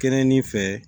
Kɛnɛnin fɛ